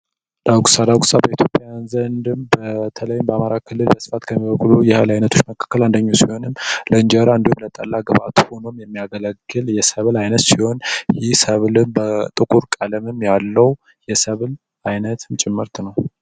ዳጉሳ ዳጉሳ በኢትዮጵያውያን ዘንድ በተለይም በአማራ ክልል በብዛት ከሚበቅሉ የህል አይነቶች አንዱ ቢሆንም ለእንጀራ እንዲሁም ለጠላ ግብዐት ሁኖ የሚያገለግል የሰብል አይነት ሲሆን ይህ ሰብል ጥቁር ቀለምም ያለው የሰብል ምርት ነው።